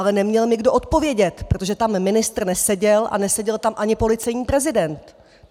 Ale neměl mi kdo odpovědět, protože tam ministr neseděl a neseděl tam ani policejní prezident.